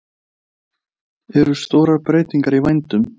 Eru stórar breytingar í vændum?